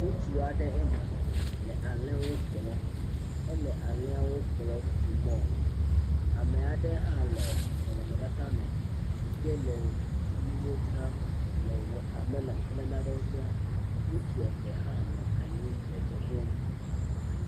Ŋutsu aɖe ema le alē wo kplɔm, ele alēawo kplɔm tso mɔe, ameaɖe hã le nɔnɔmetata me yi ke le nuwo dzram, le wɔtamelɔn kple naɖewo dzra, ŋutsu eve hã nɔ anyi le dze ɖom.